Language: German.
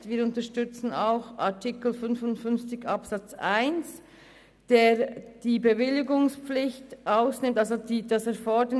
Wir unterstützen auch den Eventualantrag zu Artikel 55 Absatz 1.